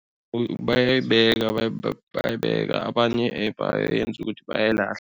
Bayayibeka bayayibeka abanye bayenza ukuthi bayayilahla.